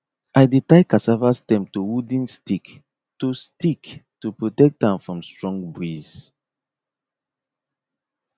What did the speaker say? i dey tie cassava stem to wooden stick to stick to protect am from strong breeze